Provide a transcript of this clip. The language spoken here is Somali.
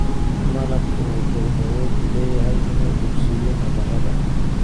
Malabku wuxuu awood u leeyahay inuu bogsiiyo nabarrada.